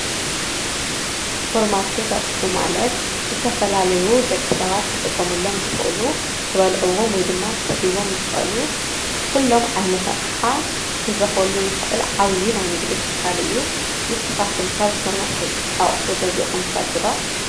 ሱፐርማርኬት ኣቑሑ ማለት ዝተፈላለዩ ደቂ ሰባት ክጥቀምሎም ዝኽእሉ ክበልዕዎም ወይድማ ክሰትይዎም ዝኽእሉ ኩሎም ዓይነታት ኣቕሓ ክንረክበሉ ንኽእል ዓብይ ናይ ንግዲ ትካል እዩ። ንስካትኩም ካብ ሱፐርማርኬት ኣቁሑ ገዚእኹም ትፈልጡ ዶ?